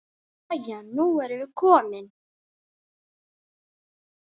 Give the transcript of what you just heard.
Jæja, nú erum við komin.